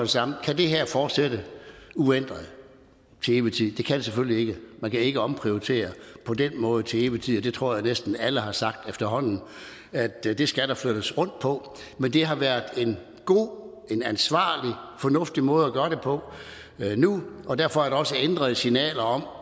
samme kan det her fortsætte uændret til evig tid det kan det selvfølgelig ikke man kan ikke omprioritere på den måde til evig tid og jeg tror at næsten alle har sagt efterhånden at det skal der flyttes rundt på men det har været en god ansvarlig og fornuftig måde at gøre det på nu og derfor er der også ændrede signaler om